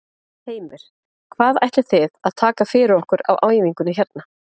Heimir: Hvað ætlið þið að taka fyrir okkur á æfingunni hérna?